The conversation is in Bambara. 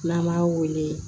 N'an m'a wele